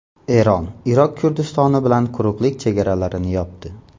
Eron Iroq Kurdistoni bilan quruqlik chegaralarini yopdi.